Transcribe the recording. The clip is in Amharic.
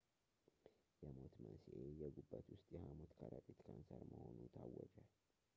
የሞት መንሥኤ የጉበት ውስጥ የሃሞት ከረጢት ካንሰር መሆኑ ታወጀ